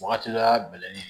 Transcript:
Wagati la bɛlɛnni